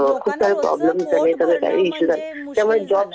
लोकांना रोजचं पोट भरणं म्हणजे मुश्किल झालं.